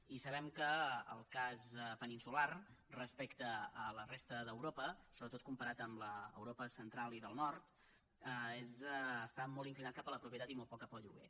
i sabem que el cas peninsular respecte a la resta d’europa sobretot comparat amb l’europa central i del nord està molt inclinat cap a la propietat i molt poc cap al lloguer